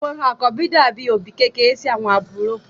Àwọn àkọ́bí dàbí òbí kékeré sí àwọn àbúrò.